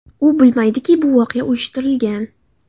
U bilmaydiki bu voqea uyushtirilgan.